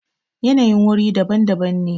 yanayin wuri daban daban ne